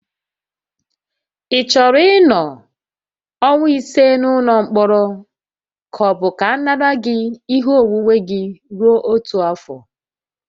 Ị chọrọ ịnọ ọnwa ise n'ụlọ mkpọrọ ka ọ bụ ka a nara gị ihe onwunwe gị rue otu afọ?